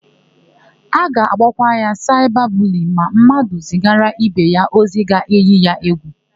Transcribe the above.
A ga-akpọkwa ya saịba buliyin ma mmadụ zigara ibe ya ozi ga-èyí ya égwù.